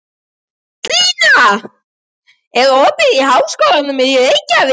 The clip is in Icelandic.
Gíslný, er opið í Háskólanum í Reykjavík?